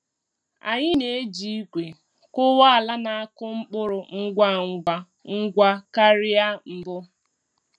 Anyị na-eji igwe kụwa ala na-akụ mkpụrụ ngwa ngwa ngwa karịa mbụ.